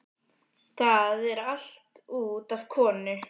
Það er allt út af konu.